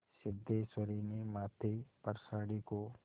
सिद्धेश्वरी ने माथे पर साड़ी को